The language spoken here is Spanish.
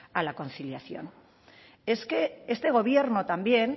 a la conciliación es que este gobierno también